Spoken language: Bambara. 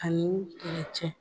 Ani